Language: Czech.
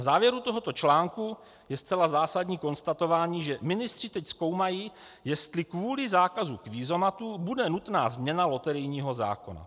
V závěru tohoto článku je zcela zásadní konstatování, že ministři teď zkoumají, jestli kvůli zákazu kvízomatů bude nutná změna loterijního zákona.